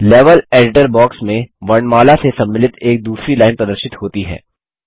level editor box में वर्णमाला से सम्मिलित एक दूसरी लाइन प्रदर्शित होती है